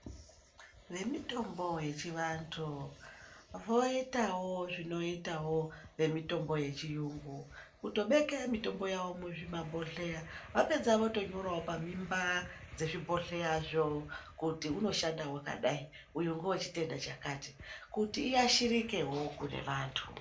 Vemutombo yechiantu voitawo zvinoita vemutombo yechirungu kutobeke mitombo yavo muzvimabhodhlera vapedza votonyora pamimba dzezvibhodhlera zvo kuti unoshanda wakadai uyu ndewechitenda chakati kuti uyashirikewo kune vantu .